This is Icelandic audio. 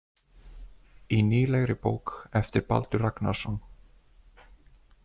Í nýlegri bók eftir Baldur Ragnarsson.